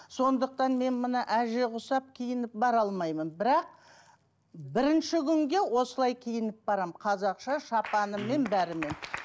сондықтан мен мына әже құсап киініп бара алмаймын бірақ бірінші күнге осылай киініп барамын қазақша шапанымен бәрімен